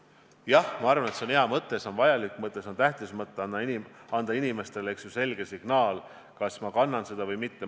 Jah, ma arvan, et see on hea mõte, see on vajalik mõte, see on tähtis mõte – anda inimestele selge signaal, kas nad kannavad seda viirust või mitte.